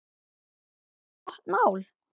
Það er bara gott mál.